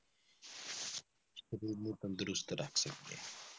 ਸਰੀਰ ਨੂੰ ਤੰਦਰੁਸਤ ਰੱਖ ਸਕਦੇ ਹਾਂ